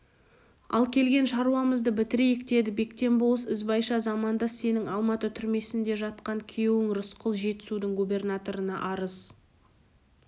ал келген шаруамызды бітірейік деді бектен болыс ізбайша замандас сенің алматы түрмесінде жатқан күйеуің рысқұл жетісудың губернаторына арыз